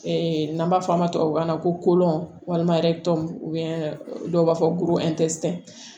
n'an b'a fɔ a ma tubabukan na ko walima dɔw b'a fɔ ko